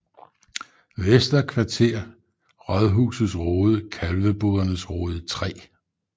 Vester Kvarter Rådhusets Rode Kalvebodernes Rode 3